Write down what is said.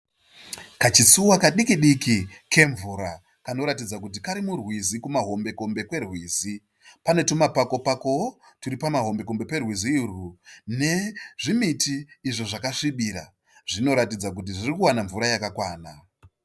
Kachitsuva kadiki diki kemvura kanoratidza kuti kari murwizi kumahombekombe kwerwizi. Pane tumapako pakowo turi pamahombe kombe perwizi urwu nezvimiti izvo zvakasvibira. Zvinoratidza kuti zviri kuwana mvura yakakwana.